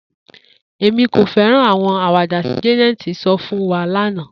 Emi ko fẹran awọn awada ti Jane sọ fun wa lana